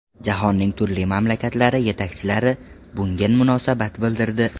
Jahonning turli mamlakatlari yetakchilari bunga munosabat bildirdi.